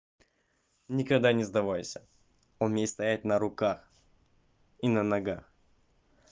никогда не сдавайся умей стоять на руках и на ногах